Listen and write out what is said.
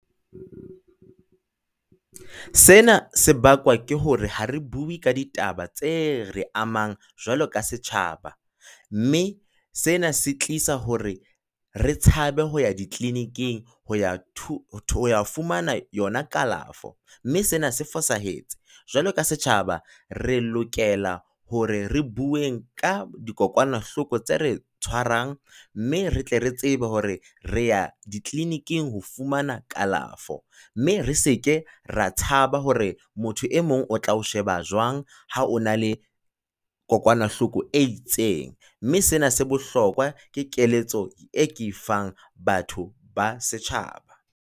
Sena sebakwa ke hore ha re bue ka ditaba tse re amang jwalo ka setjhaba, mme sena se tlisa hore re tshabe ho ya di clinic-ing ho ya fumana yona kalafo. Mme sena se fosahetse, jwalo ka setjhaba re lokela hore re bueng ka dikokwanahloko tse re tshwarang, mme re tle re tsebe hore re ya di clinic-ing ho fumana kalafo. Mme re se ke ra tshaba hore motho e mong o tla o sheba jwang ha o na le kokwanahloko e itseng, mme sena se bohlokwa ke keletso e ke e fang batho ba setjhaba.